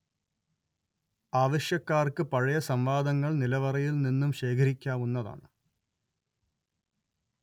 ആവശ്യക്കാർക്ക് പഴയ സംവാദങ്ങൾ നിലവറയിൽ നിന്നും ശേഖരിക്കാവുന്നതാണ്